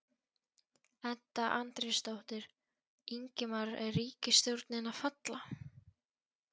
Edda Andrésdóttir: Ingimar er ríkisstjórnin að falla?